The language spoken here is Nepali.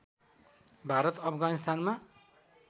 भारत अफगानिस्तानमा